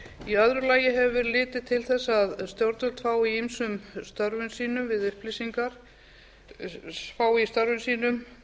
í öðru lagi hefur verið litið til þess að stjórnvöld fái í ýmsum störfum sínum